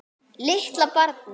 Litla barnið.